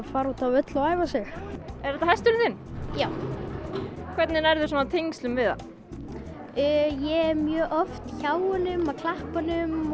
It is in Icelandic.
fara út á völl og æfa sig er þetta hesturinn þinn já hvernig nærðu tengslum við hann ég er mjög oft hjá honum að klappa honum